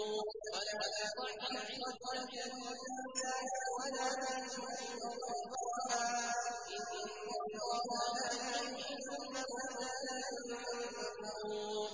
وَلَا تُصَعِّرْ خَدَّكَ لِلنَّاسِ وَلَا تَمْشِ فِي الْأَرْضِ مَرَحًا ۖ إِنَّ اللَّهَ لَا يُحِبُّ كُلَّ مُخْتَالٍ فَخُورٍ